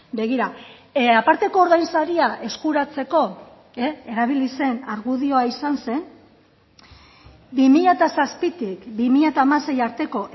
begira aparteko ordainsaria eskuratzeko erabili zen argudioa izan zen bi mila zazpitik bi mila hamasei arteko